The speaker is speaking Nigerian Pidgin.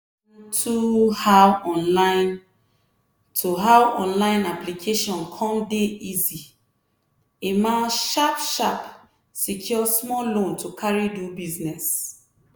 on to how online to how online application cum dey easy emma sharp-sharp secure small loan to carry do business.